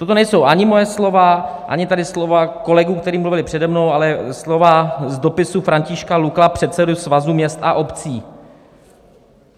Toto nejsou ani moje slova, ani tady slova kolegů, kteří mluvili přede mnou, ale slova z dopisu Františka Lukla, předsedy Svazu měst a obcí.